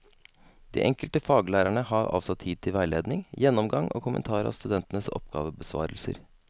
De enkelte faglærerne har avsatt tid til veiledning, gjennomgang og kommentar av studentenes oppgavebesvarelser.